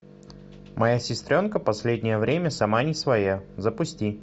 моя сестренка последнее время сама не своя запусти